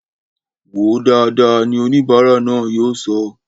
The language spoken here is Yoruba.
Wòó dáadáa! ni oníbara náà yóò sọ